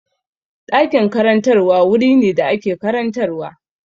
Ɗakin karantarwa wuri ne da ake karantarwa.